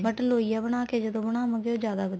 but ਲੋਈਆ ਬਣਾ ਕੇ ਜਦੋਂ ਬਣਾਵਾਗੇ ਉਹ ਜਿਆਦਾ ਵਧੀਆ